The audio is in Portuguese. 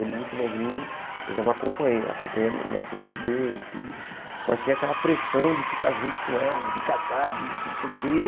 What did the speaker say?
Ele muito novinho, eu já não acompanhei, acompanhando o nascimento dele e tudo, mas tinha aquela pressão de ficar junto com ela, de casar, de não sei o quê.